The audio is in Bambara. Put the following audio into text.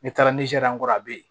Ne taara nizɛri an kɔrɔ a bɛ yen